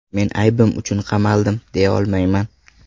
Men aybim uchun qamaldim, deya olmayman.